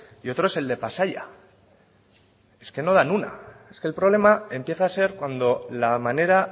y otro es el de pasaia es que no dan una es que el problema empieza a ser cuando la manera